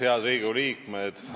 Head Riigikogu liikmed!